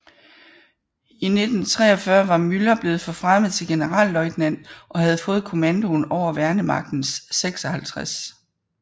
I 1943 var Müller blevet forfremmet til generalløjtnant og havde fået kommandoen over Værnemagtens 56